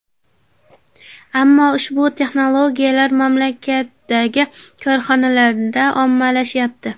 Ammo ushbu texnologiyalar mamlakatdagi korxonalarda ommalashmayapti.